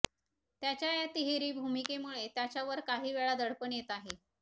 त्याच्या या तिहेरी भूमिकेमुळे त्याच्यावर काहीवेळा दडपण येत आहे